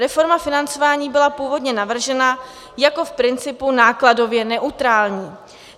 Reforma financování byla původně navržena jako v principu nákladově neutrální.